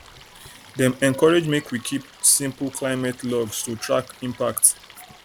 dem encourage make we keep simple climate logs to track impacts